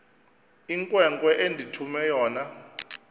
inkwenkwe endithume yona